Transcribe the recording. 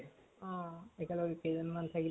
অ একেলগে কেইজন মান থাকি